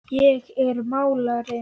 Ég er málari.